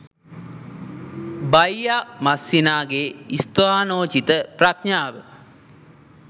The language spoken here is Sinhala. බයියා මස්සිනාගේ ස්ථානෝචිත ප්‍රඥාව